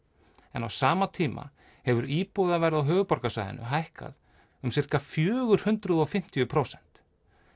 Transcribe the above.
en á sama tímabili hefur íbúðaverð á höfuðborgarsvæðinu hækkað um sirka fjögur hundruð og fimmtíu prósent